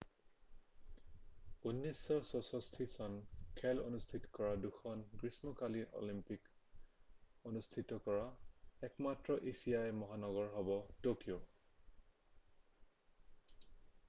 1964 চনত খেল অনুস্থিত কৰা দুখন গ্ৰীষ্মকালীন অলিম্পিক অনুষ্ঠিত কৰা একমাত্ৰ এছীয় মহানগৰ হ'ব ট'কিঅ'